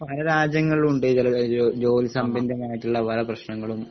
പലരാജ്യങ്ങളിലുമുണ്ട് ഇഹ് ചില ഇഹ് ജോ ജോലിസംബിന്തമായിട്ടുള്ള പല പ്രശ്നങ്ങളും